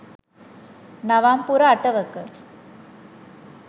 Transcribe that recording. නවම් පුර අටවක